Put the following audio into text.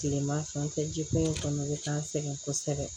Kileman fɛ an tɛ jikun kɔnɔna de k'an sɛgɛn kosɛbɛ